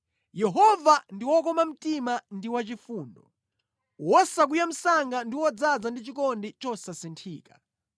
Yehova ndi wokoma mtima ndi wachifundo, wosakwiya msanga ndi wodzaza ndi chikondi chosasinthika.